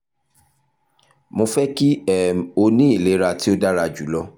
mo fẹ ki um o ni ilera ti o dara julọ